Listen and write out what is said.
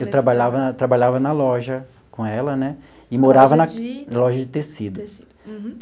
Eu trabalhava na trabalhava na loja com ela né e morava na loja de tecido. Tecido uhum.